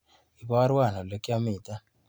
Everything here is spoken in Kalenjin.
Ibarwa olekyamite.